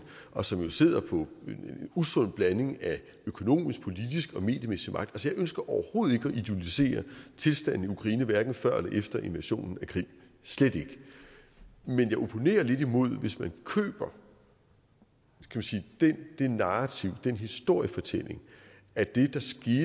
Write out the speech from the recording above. og som jo sidder på en usund blanding af økonomisk politisk og mediemæssig magt jeg ønsker overhovedet ikke at idolisere tilstanden i ukraine hverken før eller efter invasionen af krim slet ikke men jeg opponerer lidt imod hvis man køber det narrativ den historiefortælling at det